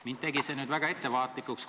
Mind tegi see väga ettevaatlikuks.